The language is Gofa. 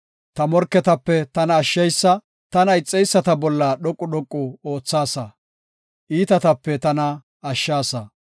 Ta morketape tana ashsheysa; tana ixeyisata bolla dhoqu dhoqu oothaasa; iitatape tana ashshaasa.